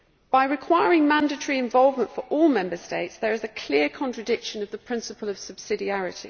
By requiring mandatory involvement for all Member States, there is a clear contradiction of the principle of subsidiary.